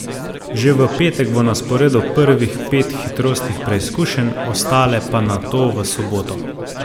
Že v petek bo na sporedu prvih pet hitrostnih preizkušenj, ostale pa nato v soboto.